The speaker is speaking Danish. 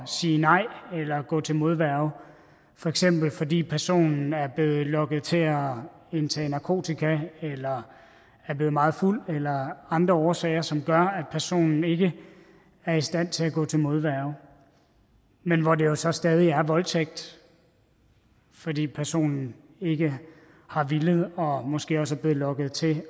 sige nej eller gå til modværge for eksempel fordi personen er blevet lokket til at indtage narkotika eller er blevet meget fuld eller andre årsager som gør at personen ikke er i stand til at gå til modværge men hvor det jo så stadig er voldtægt fordi personen ikke har villet og måske også er blevet lokket til